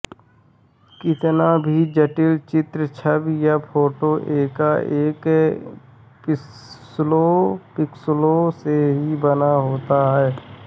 कितना भी जटिल चित्र छवि या फोटो एकएक पिक्सलों से ही बना होता है